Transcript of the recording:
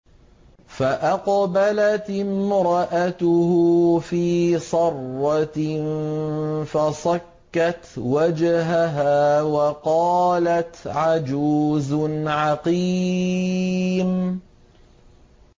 فَأَقْبَلَتِ امْرَأَتُهُ فِي صَرَّةٍ فَصَكَّتْ وَجْهَهَا وَقَالَتْ عَجُوزٌ عَقِيمٌ